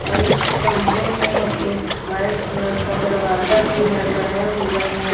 और इस कमरे में एक वाइट कलर का दरवाजा भी लगाया हुआ है।